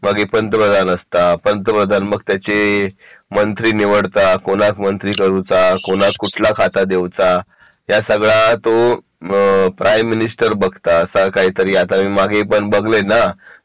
मग ये पंतप्रधान असता पंतप्रधान मग त्याचे मंत्री निवडता कोणाक मंत्री करू चा कोणाक कुठला खाता देऊ चा या सगळा तो प्राईम मिनिस्टर बघता असा ऐकला मी मागे पण बगले ना